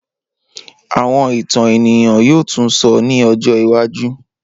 Awọn itan eniyan yoo tun sọ ni ọjọ iwaju.